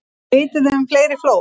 Vitið þið um fleiri flóð?